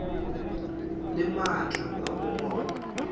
le maatla a go gola